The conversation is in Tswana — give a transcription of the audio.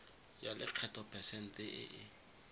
ya lekgetho phesente e e